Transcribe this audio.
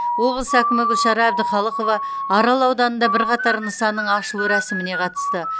облыс әкімі гүлшара әбдіқалықова арал ауданында бірқатар нысанның ашылу рәсіміне қатысты